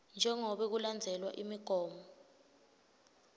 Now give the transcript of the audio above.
jengobe kulandzelwe imigomo